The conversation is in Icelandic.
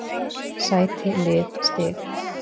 Sæti Lið Stig